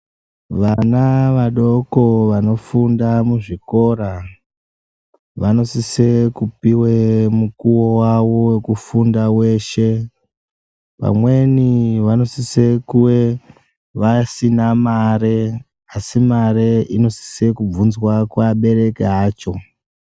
Vana vadoko vanofunda muzvikora vanosise kupive mukuvo vavo vekufunda veshe. Vamweni vanosise kuve vasina mare asi, mare inosise kubvunzwa kuabereki acho.